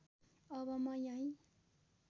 अब म यही